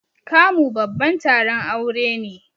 Kamu babban taron aure ne.